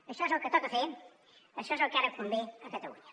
això és el que toca fer això és el que ara convé a catalunya